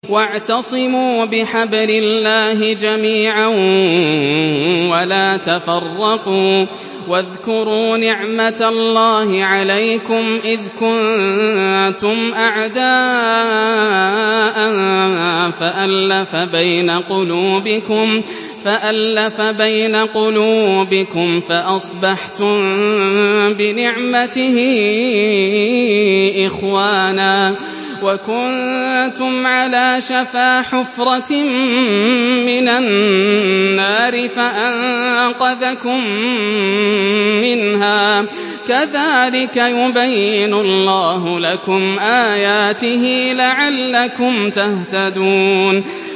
وَاعْتَصِمُوا بِحَبْلِ اللَّهِ جَمِيعًا وَلَا تَفَرَّقُوا ۚ وَاذْكُرُوا نِعْمَتَ اللَّهِ عَلَيْكُمْ إِذْ كُنتُمْ أَعْدَاءً فَأَلَّفَ بَيْنَ قُلُوبِكُمْ فَأَصْبَحْتُم بِنِعْمَتِهِ إِخْوَانًا وَكُنتُمْ عَلَىٰ شَفَا حُفْرَةٍ مِّنَ النَّارِ فَأَنقَذَكُم مِّنْهَا ۗ كَذَٰلِكَ يُبَيِّنُ اللَّهُ لَكُمْ آيَاتِهِ لَعَلَّكُمْ تَهْتَدُونَ